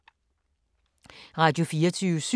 Radio24syv